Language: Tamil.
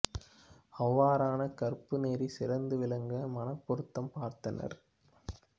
அவ்வாறான கற்பு நெறி சிறந்து விளங்க மணப் பொருத்தம் பார்த்தனர்